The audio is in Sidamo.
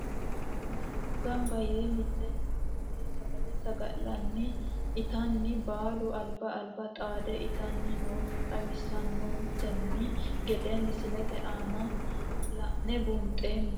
Mannu ganba yee miteeni ofole sagale sagalani itano baalu alba alba xaade itani noota xawisanonteni gedde misilete aana lane buunxoomo.